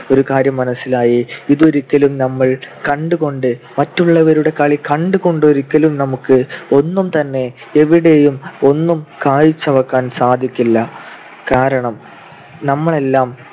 ഒരു കാര്യം മനസ്സിലായി. ഇതൊരിക്കലും നമ്മൾ കണ്ടുകൊണ്ട് മറ്റുള്ളവരുടെ കളി കണ്ടുകൊണ്ട് ഒരിക്കലും നമുക്ക് ഒന്നും തന്നെ എവിടെയും ഒന്നും കാഴ്ചവെക്കാൻ സാധിക്കില്ല. കാരണം നമ്മൾ എല്ലാം